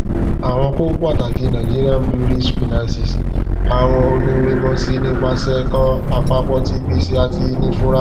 àwọn kókó pàtàkì nigerian breweries finances awọn oniwemosi nipasẹ kan apapo ti gbese ati inifura